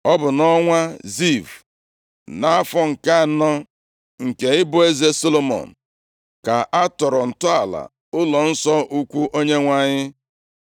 Ọ bụ nʼọnwa Ziv, nʼafọ nke anọ, nke ịbụ eze Solomọn ka a tọrọ ntọala ụlọnsọ ukwu Onyenwe anyị.